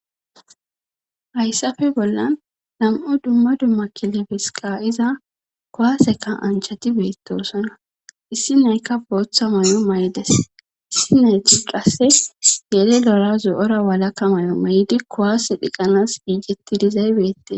hayssafe bollan nam7o dumma dumma kile fesiqa iza kowaaseka anchati beettoosona issi naykka booththa may7o maydas sineetudhase yele lora zo7ora walakka may7o may7di kowaase dhiqanas iijetti dizay beette